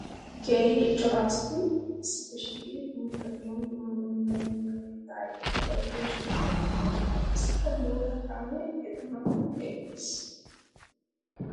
Keehi cora asay issippe shiiqiddi guutta giyan dumma dumma miyo mitta ayfeta bayzzosonanne shammosonna. Qassikka bootta kaame etta matan eqqiis.